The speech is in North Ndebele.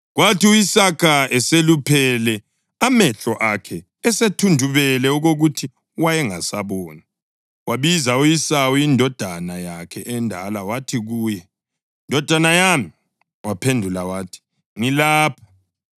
Kwathi u-Isaka eseluphele, amehlo akhe esethundubele okokuthi wayengasaboni, wabiza u-Esawu indodana yakhe endala wathi kuye, “Ndodana yami.” Waphendula wathi, “Ngilapha.”